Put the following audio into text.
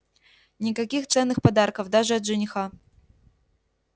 никаких ценных подарков даже от жениха